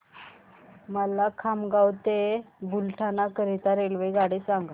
मला खामगाव ते बुलढाणा करीता रेल्वेगाडी सांगा